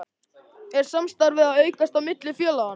Er samstarfið að aukast á milli félaganna?